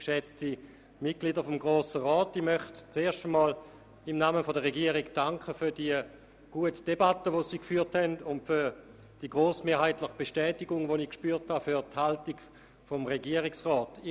Ich möchte mich auch im Namen der Regierung zunächst einmal für die gute Debatte bedanken, die Sie geführt haben, und auch für die grossmehrheitliche Bestätigung der Haltung der Regierung, die ich gespürt habe.